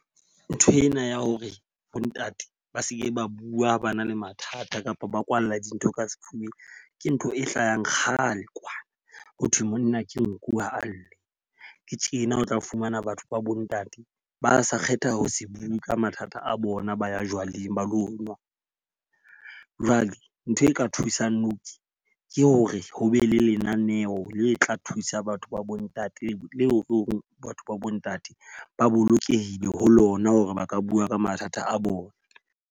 Nthwena ya hore bo ntate ba seke ba bua ha ba na le mathata kapa ba kwallwa dintho ka sefubeng. Ke ntho e hlahang kgale kwana ho thwe monna ke nku ha a lle. Ke tjena o tla fumana batho ba bo ntate ba sa kgetha ho se bue ka mathata a bona, ba ya jwaleng ba lo nwa. Jwale ntho e ka thusang nou tje ke hore ho be le lenaneo le tla thusa batho ba bo ntate le hore batho ba bo ntate ba bolokehile ho lona hore ba ka bua ka mathata a bona.